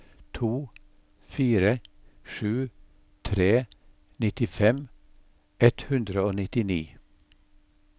to fire sju tre nittifem ett hundre og nittini